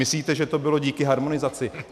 Myslíte, že to bylo kvůli harmonizaci?